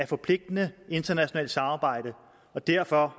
forpligtende internationalt samarbejde og derfor